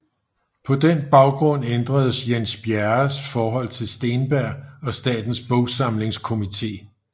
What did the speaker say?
På den baggrund ændredes Jens Bjerres forhold til Steenberg og Statens Bogsamlingskomité